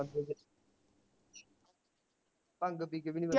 ਭੰਗ ਪੀ ਕੇ ਵੀ ਨੀ